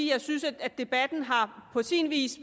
jeg synes debatten på sin vis